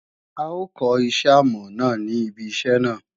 A ó kọ́ iṣẹ́ àmọ̀ ní ibi iṣẹ́ náà